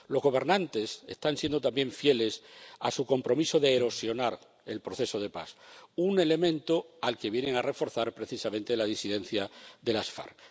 Los gobernantes están siendo también fieles a su compromiso de erosionar el proceso de paz, un elemento que se ve reforzado, precisamente, por la disidencia de las FARC.